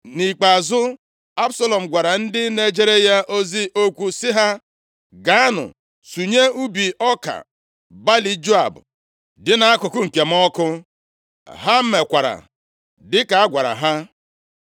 Nʼikpeazụ, Absalọm gwara ndị na-ejere ya ozi okwu sị ha, “Gaanụ sunye ubi ọka balị Joab dị nʼakụkụ nke m ọkụ.” Ha mekwara dịka a gwara ha.